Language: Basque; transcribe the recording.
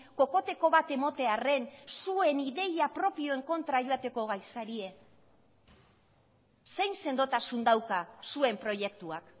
kokoteko bat ematearren zuen ideia propioen kontra joateko gai zarete zein sendotasun dauka zuen proiektuak